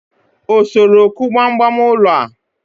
o soro ku gbam gbam ulo a?